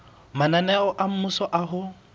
mananeo a mmuso a ho